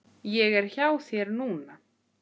Ég er hjá þér núna.